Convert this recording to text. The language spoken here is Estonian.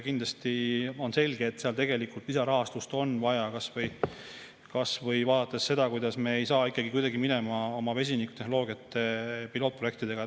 Kindlasti on selge, et seal tegelikult lisarahastust on vaja, kasvõi vaadates seda, kuidas me ei saa minema oma vesinikutehnoloogia pilootprojektidega.